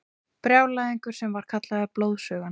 Brjálæðingur sem var kallaður Blóðsugan.